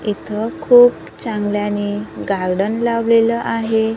इथं खूप चांगल्याने गार्डन लावलेलं आहे.